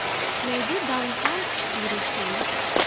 найди даун хаус четыре кей